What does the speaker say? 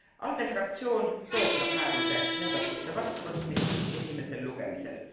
ALDE fraktsioon toetab määruse muudatuste vastuvõtmist esimesel lugemisel.